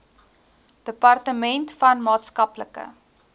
departement van maatskaplike